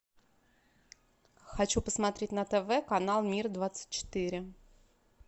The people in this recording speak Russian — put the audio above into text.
хочу посмотреть на тв канал мир двадцать четыре